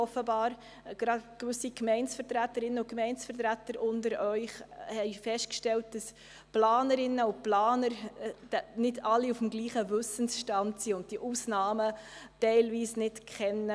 Offenbar haben gewisse Vertreterinnen und Vertreter von Gemeinden festgestellt, dass sich nicht alle Planerinnen und Planer auf dem gleichen Wissensstand befinden und diese Ausnahmen teilweise nicht kennen.